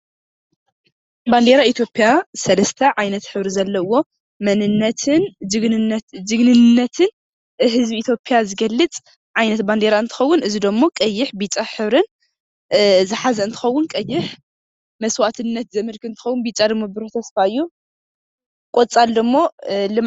ባንዴራ ኢትዮጵያ ሰለስተ ዓይነት ሕብሪ ዘለዎ መንነትን ጅግንነት ጅግንነትን ህዝቢ ኢትዮጵያ ዝገልፅ ዓይነት ባንዴራ እንትኸዉን እዚ ደሞ ቀይሕ፣ ብጫ ሕብርን ዝሓዘ እንትኸዉን ቀይሕ መስዋእትነት ዘመልክት እንትኸዉን ብጫ ደሞ ቡሩህ ተስፋ እዩ። ቆፃል ደሞ ልምዓ።